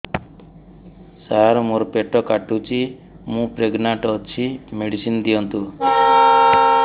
ସାର ମୋର ପେଟ କାଟୁଚି ମୁ ପ୍ରେଗନାଂଟ ଅଛି ମେଡିସିନ ଦିଅନ୍ତୁ